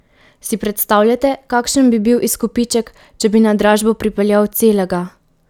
Si predstavljate, kakšen bi bil izkupiček, če bi na dražbo pripeljal celega?